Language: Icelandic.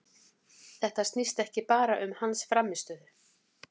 Þetta snýst ekki bara um hans frammistöðu.